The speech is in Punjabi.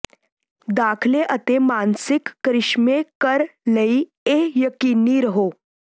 ਦਾਖਲੇ ਅਤੇ ਮਾਨਸਿਕ ਕਰਿਸ਼ਮੇ ਕਰ ਲਈ ਇਹ ਯਕੀਨੀ ਰਹੋ